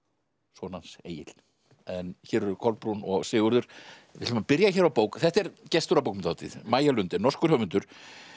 son hans Egil en hér eru Kolbrún og Sigurður við ætlum að byrja hér á bók þetta er gestur á bókmenntahátíð Maja norskur höfundur